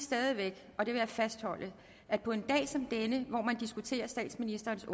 og det vil væk fastholde at på en dag som denne hvor diskuterer statsministerens